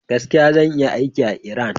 Gaskiya, zan iya yin aikin a Iran.